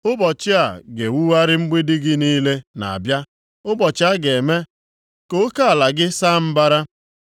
Ụbọchị a ga-ewugharị mgbidi gị niile na-abịa; ụbọchị a ga-eme ka oke ala gị saa mbara.